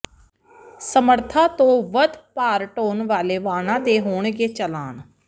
ਸਮਰੱਥਾ ਤੋਂ ਵੱਧ ਭਾਰ ਢੋਣ ਵਾਲੇ ਵਾਹਨਾਂ ਦੇ ਹੋਣਗੇ ਚਲਾਨ